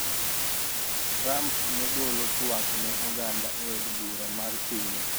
Trump ne golo tuak ne oganda e od bura mar pinyno.